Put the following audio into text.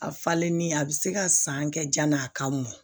A falenni a bɛ se ka san kɛ ja n'a ka mɔn